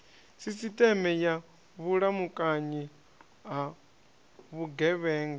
sisiteme ya vhulamukanyi ha vhugevhenga